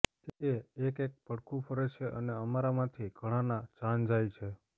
એ એક એક પડખું ફરે છે અને અમારામાંથી ઘણાના જાન જાય છે